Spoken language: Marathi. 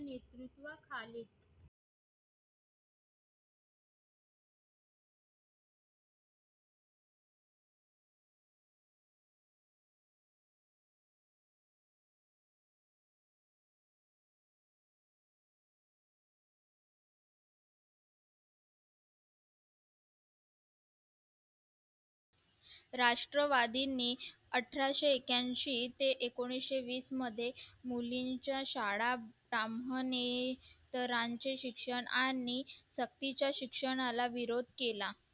राष्ट्रवादीनीच अठराशे एक्याशी ते एकोणिशे विस मध्ये मुलींच्या शाळा इतरांचे शिक्षण आणि तपटीच्या शिक्षणाला विरोध केला